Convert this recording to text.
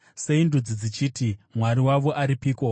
Sei ndudzi dzichiti, “Mwari wavo aripiko?”